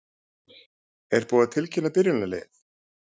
Er búið að tilkynna byrjunarliðið?